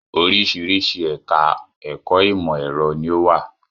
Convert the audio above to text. Oŕṣìíríṣìí ẹ̀ka ẹ̀kọ́ ìmọ̀ ẹ̀rọ ni ó wà.